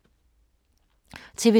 TV 2